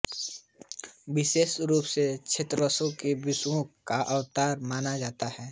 विशेष रूप से दत्तात्रेय को विष्णु का अवतार माना जाता है